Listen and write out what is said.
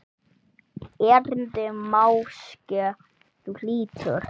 Erindi máske þú hlýtur.